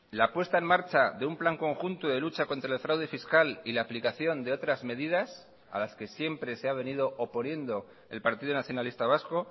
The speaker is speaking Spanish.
la puesta en marcha de un plan conjunto de lucha contra el fraude fiscal y la aplicación de otras medidas a las que siempre se ha venido oponiendo el partido nacionalista vasco